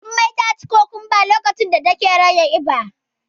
Jummai taci kukumba a lokacin da take rage kiba.